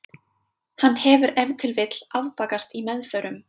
Hann hefur ef til vill afbakast í meðförum.